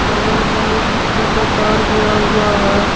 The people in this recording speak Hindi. बगल मे ये बिजली का तार गया हुआ है।